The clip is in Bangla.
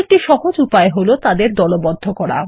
একটি সহজ উপায় হল তাদের দলবদ্ধ করা